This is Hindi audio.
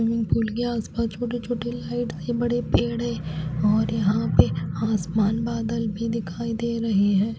स्विमिंग पूल के आस पास छोटे छोटे लाइट है हरे बड़े पेड़ है और यहां पे आसमान बादल भी दिखाई दे रहे हैं।